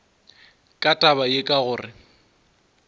ka taba ye ka gore